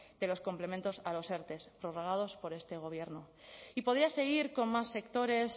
de los complementos a los erte prorrogados por este gobierno y podía seguir con más sectores